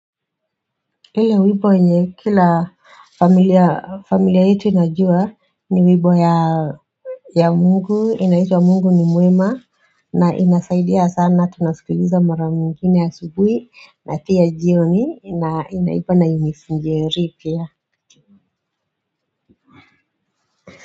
Ile wimbo yenye kila familia familia yetu inajua ni wimbo ya ya mungu inaitwa mungu ni mwema na inasaidia sana tunasikiliza mara ingine asubuhi na pia jioni imeimbwa na Eunice Njeri pia.